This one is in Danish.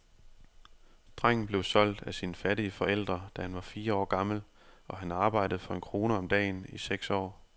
Drengen blev solgt af sine fattige forældre, da han var fire år gammel, og han arbejdede for en krone om dagen i seks år.